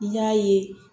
I y'a ye